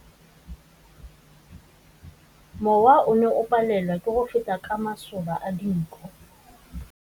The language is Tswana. Mowa o ne o palelwa ke go feta ka masoba a dinko.